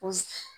Ko